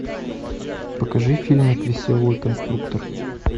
покажи фильмик веселый конструктор